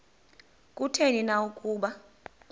kutheni na ukuba